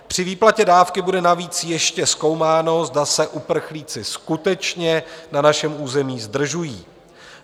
Při výplatě dávky bude navíc ještě zkoumáno, zda se uprchlíci skutečně na našem území zdržují.